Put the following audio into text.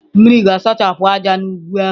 Mmiri ga-asachapụ ájá n'ugwu ahụ.